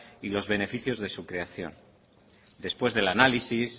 y los beneficios de su creación después del análisis